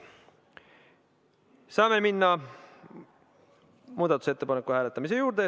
Saame minna muudatusettepaneku hääletamise juurde.